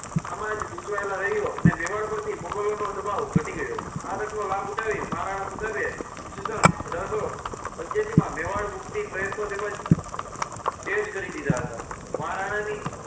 આમાં જ ગૂંચવાયેલા રહ્યો અને મેવાડ પરથી મોગલોનો દબાવ હટી ગયો. આ તકનો લાભ ઉઠાવી મહારાણા પ્રતાપે ઈસ્વીસન અઢાર સો પંચ્યાસી માં મેવાડ મુક્તિ પ્રયત્નો તેમજ તેજ કરી દીધા હતા. મહારાણાની